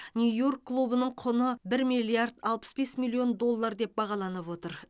нью йорк клубының құны бір миллиард алпыс бес миллион доллар деп бағаланып отыр